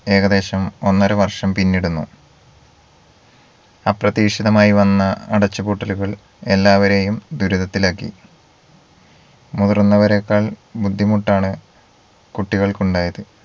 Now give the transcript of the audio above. ഏകദേശം ഒന്നര വർഷം പിന്നിടുന്നു അപ്രതീക്ഷിതമായി വന്ന അടച്ചുപൂട്ടലുകൾ എല്ലാവരെയും ദുരിതത്തിൽ ആക്കി മുതിർന്നവരെക്കാൾ ബുദ്ധിമുട്ടാണ് കുട്ടികൾക്കുണ്ടായത്